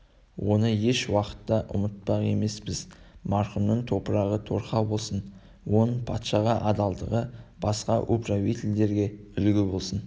оны ешуақытта да ұмытпақ емеспіз марқұмның топырағы торқа болсын оның патшаға адалдығы басқа управительдерге үлгі болсын